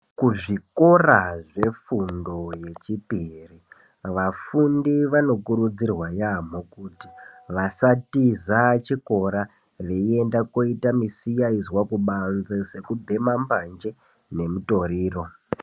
kuzvikora zvefundo yechipiri vafundi vanokurudzirwa yaamho kuti vasatiza chikora veinda koita misikayizwa kubanzi sekubhema mbanje nemutoriro.